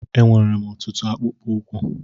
Enwèrè m ọtụtụ akpụkpọ ụkwụ